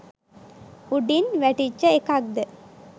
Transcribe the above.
උඩින් වැටිච්ච එකක්ද?